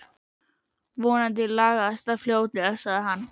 Vonandi lagast það fljótlega sagði hann.